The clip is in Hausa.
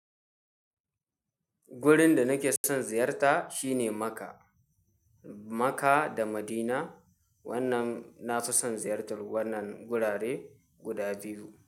Gurin da nake son ziyarta shine Makka. Makka da Madina. Wannan na fi son ziyartar wannan gurare guda biyu.